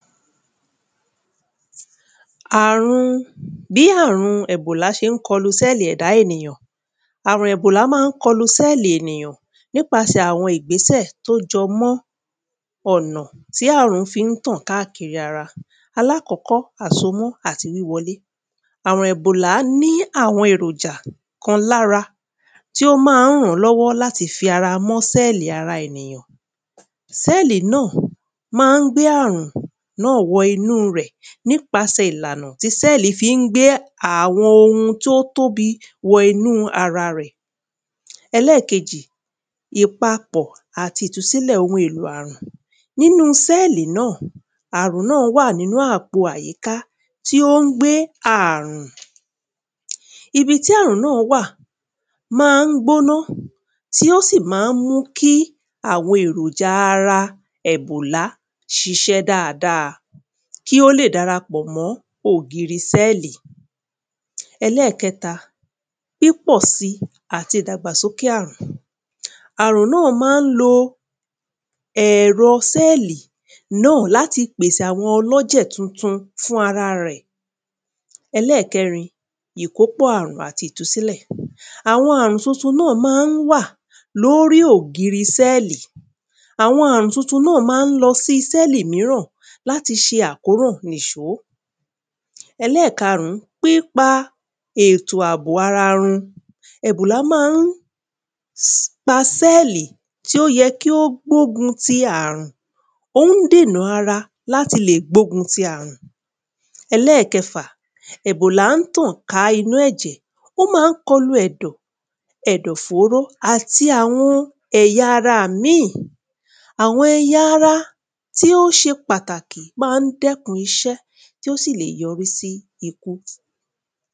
Àrun bí àrun ẹ̀bòlà ṣé ń kọlu sẹ́ẹ̀lì ẹ̀dá ènìyàn àrun ẹ̀bòlà má ń kọlu sẹ́ẹ̀lì ènìyàn nípa sẹ̀ àwọn ìgbesẹ̀ tó jọ mọ́ ọ̀nà tí àrùn fí ń tàn káàkiri ara alákọ́kọ́ àsomọ́ àti wíwọlé àrun ẹ̀bòlà ní àwọn èròjà kan lára tí ó má ń ràn-án lọ́wọ́ láti fi ara mọ́ sẹ́ẹ̀lì ara ènìyàn sẹ́ẹ̀lì náà má ń gbé àrùn náà wo inú rẹ̀ nípasẹ ìlànà tí sẹ́ẹ̀lì fí ń gbé àwọn ohun tó tóbi wọ inú ara rẹ̀ ẹlẹ́ẹ̀kejì ìpapọ̀ àti ìtúsílẹ̀ ohun ẹ̀lò àrùn nínu sẹ́ẹ̀lì náà àrùn náà wà nínu àpo àyíká tí ó ń gbé àrùn ibi tí àrùn náà wà ma ń gbóná tí ó sì má ń mú kí àwọn èròjà ara ẹ̀bòlá ṣiṣẹ́ dáadáa kí ó lè darapọ̀ mọ́ ògiri sẹ́ẹ̀lì ẹlẹ́ẹ̀kẹta pípọ̀ si àti ìdàgbàsókè árùn àrùn náà má ń lo ẹ̀rọ sẹ́ẹ̀lì náà láti pèsè àwọn ọlọ́jẹ̀ tuntun fún ara rẹ̀ ẹlẹ́ẹ̀kẹrin ìkópọ̀ àrùn àti ìtúsílẹ̀ àwọn àrùn tuntun náà má ń wà lórí ògiri sẹ́ẹ̀lì àwọn àrùn tuntun náà má ń lọ sí sẹ́ẹ̀lì míràn láti ṣe àkóràn nìṣó ẹlẹ́ẹ̀karùn-ún pípa ètò àbò ara run ẹ̀bòlà ma ń pa sẹ́ẹ̀lì tó yẹ kó gbógun ti àrùn ó ń dènà ara láti lè gbógun ti àrùn ẹlẹ́ẹ̀kẹfà ẹ̀bòlà ń tàn ká inú ẹ̀jẹ̀ ó ma ń kọlu ẹ̀dọ̀ ẹ̀dọ̀ fóró àti àwọn ẹ̀ya ara míì àwọn ẹya ara tí ó ṣe pàtàkì má ń dẹ́kun iṣẹ́ tí ó sìlè yọrí sí ikú